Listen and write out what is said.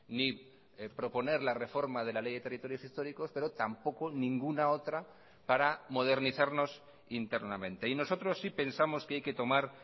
ni proponer la reforma de la ley de territorios históricos pero tampoco ninguna otra para modernizarnos internamente y nosotros sí pensamos que hay que tomar